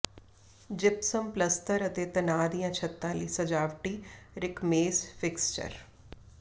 gypsum ਪਲਸਤਰ ਅਤੇ ਤਣਾਅ ਦੀਆਂ ਛੱਤਾਂ ਲਈ ਸਜਾਵਟੀ ਰਿਕਮੇਸਡ ਫਿਕਸਚਰ